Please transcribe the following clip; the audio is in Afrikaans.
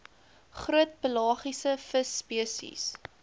groot pelagiese visspesies